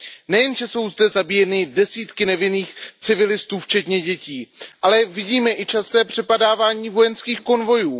Nejenže jsou zde zabíjeny desítky nevinných civilistů, včetně dětí, ale vidíme i časté přepadávání vojenských konvojů.